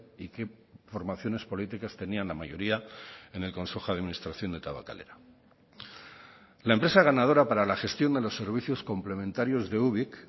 y qué formaciones políticas tenían la mayoría en el consejo de administración de tabakalera la empresa ganadora para la gestión de los servicios complementarios de ubik